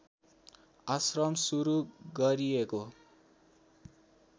आश्रम सुरु गरिएको